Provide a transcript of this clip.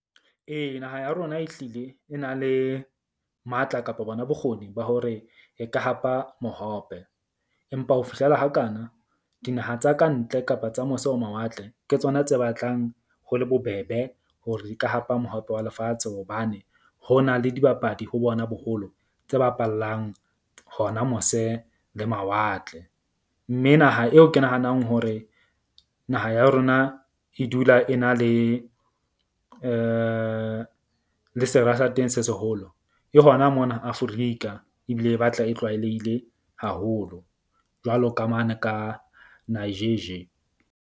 Ee, naha ya rona ehlile e na le matla, kapa bona bokgoni ba hore e ka hapa mohope. Empa ho fihlela hakana dinaha tsa kantle kapa tsa mose ho mawatle, ke tsona tse batlang ho le bobebe hore di ka hapa mohope wa lefatshe. Hobane ho na le dibapadi ho bona boholo tse bapallang hona mose le mawatle. Mme naha eo ke nahanang hore naha ya rona e dula e na le le sera sa teng se seholo e hona mona Aforika. Ebile e batla e tlwaelehile haholo jwalo ka mane ka .